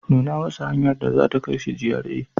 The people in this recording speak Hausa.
Nuna masa hanyar da za ta kai shi GRA.